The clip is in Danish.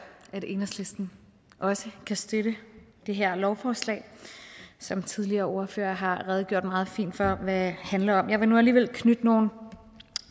at enhedslisten også kan støtte det her lovforslag som tidligere ordførere har redegjort meget fint for hvad handler om jeg vil nu alligevel knytte nogle